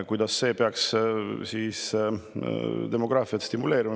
Kuidas see peaks stimuleerima?